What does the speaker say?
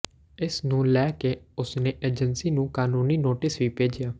ਇਸ ਨੂੰ ਲੈ ਕੇ ਉਸਨੇ ਏਜੰਸੀ ਨੂੰ ਕਾਨੂੰਨੀ ਨੋਟਿਸ ਵੀ ਭੇਜਿਆ